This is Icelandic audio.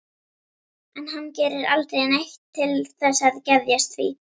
En hann gerir aldrei neitt til þess að geðjast því.